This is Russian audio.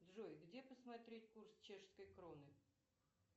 джой где посмотреть курс чешской кроны